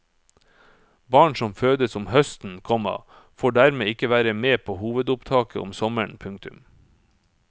Barn som fødes om høsten, komma får dermed ikke være med på hovedopptaket om sommeren. punktum